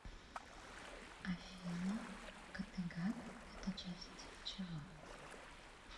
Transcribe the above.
афина каттегат это часть чего